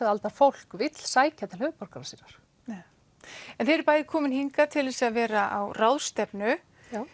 aldar fólk vill sækja til höfuðborgar sinnar já en þið eruð bæði komin hingað til þess að vera á ráðstefnu